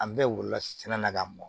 An bɛɛ wolola sɛnɛ na ka mɔn